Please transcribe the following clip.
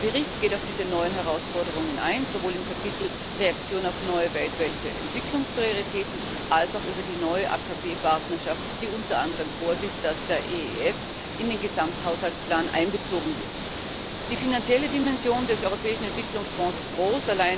Der Bericht geht auf diese neuen Herausforderungen ein, sowohl im Kapitel Reaktion auf neue Welt, Welt der Entwicklungsprioritäten als auch im Kapitel über die neue AKP Partnerschaft, die unteranderem vorsieht, dass der EEF in den Gesamthaushaltsplan einbezogen wird. Die finanzielle Dimension des Europäischen Entwicklungsfonds ist groß.